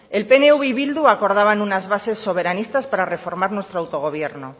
el pnv y bildu acordaban unas base soberanistas para reformar nuestro autogobierno